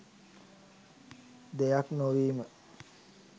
දෙයක් නොවීම.